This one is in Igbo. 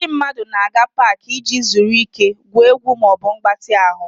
Ndị mmadụ na-aga Pááki iji zuru ike, gwuo egwu ma ọ bụ mgbatị ahụ